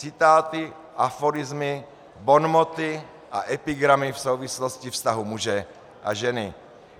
Citáty, aforismy, bonmoty a epigramy v souvislosti vztahu muže a ženy.